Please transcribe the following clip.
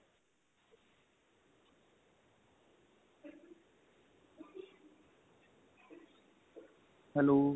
hello